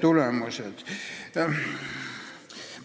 Ettekandjale härra